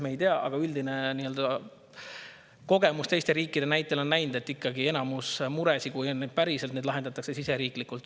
Me ei tea, aga üldine kogemus teiste riikide näitel on, et ikkagi enamus muresid, kui neid on päriselt, lahendatakse siseriiklikult.